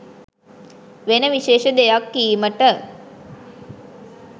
වෙන විශේෂ දෙයක් කීමට.